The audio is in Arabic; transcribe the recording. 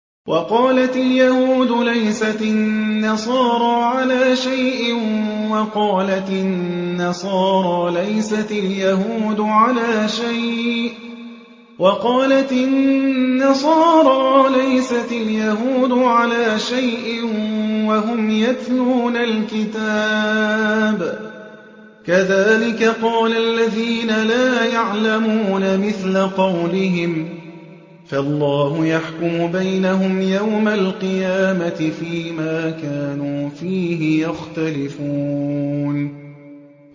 وَقَالَتِ الْيَهُودُ لَيْسَتِ النَّصَارَىٰ عَلَىٰ شَيْءٍ وَقَالَتِ النَّصَارَىٰ لَيْسَتِ الْيَهُودُ عَلَىٰ شَيْءٍ وَهُمْ يَتْلُونَ الْكِتَابَ ۗ كَذَٰلِكَ قَالَ الَّذِينَ لَا يَعْلَمُونَ مِثْلَ قَوْلِهِمْ ۚ فَاللَّهُ يَحْكُمُ بَيْنَهُمْ يَوْمَ الْقِيَامَةِ فِيمَا كَانُوا فِيهِ يَخْتَلِفُونَ